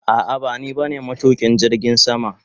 A'a bani ba ne matukin jirgin sama.